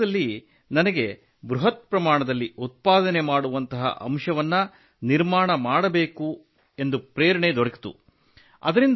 ಆ ಹಂತದಲ್ಲಿ ನನಗೆ ಬೃಹತ್ ಪ್ರಮಾಣದಲ್ಲಿ ಉತ್ಪಾದನೆ ಮಾಡುವಂತಹ ಅಂಶವನ್ನು ನಿರ್ಮಾಣ ಮಾಡಬೇಕೆಂದು ಪ್ರೇರಣೆ ದೊರಕಿತು